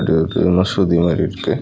இது வந்து மசூதி மாரி இருக்கு.